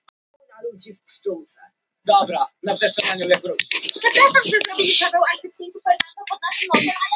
Og svo sitja þær saman á kvöldin og tala um atburði daganna rólegar og yfirvegaðar.